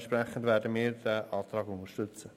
Entsprechend werden wir diesen Antrag unterstützen.